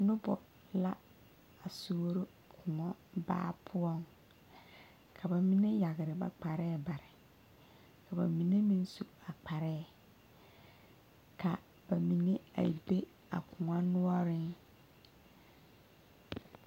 Noba la a suoro koɔ baa poɔ ka ba mine yagre ba kpare bare ka ba mine meŋ su a kparɛɛ ka ba mine be a koɔ noɔreŋ .